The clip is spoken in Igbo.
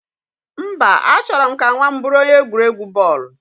Mba, A chọrọ m ka nwa m bụrụ onye egwuregwu bọọlụ